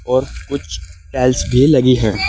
और कुछ टाइल्स भी लगी है।